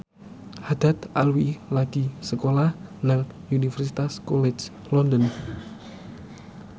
Haddad Alwi lagi sekolah nang Universitas College London